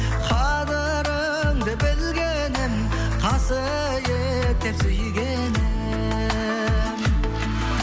қадіріңді білгенім қасиеттеп сүйгенім